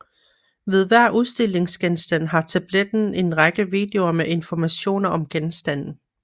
Ved hver udstillingsgenstand har tabletten en række videoer med informationer om genstanden